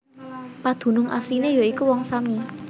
Padunung asliné ya iku Wong Sami